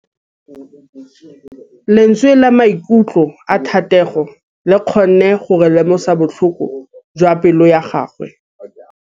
Lentswe la maikutlo a Thategô le kgonne gore re lemosa botlhoko jwa pelô ya gagwe.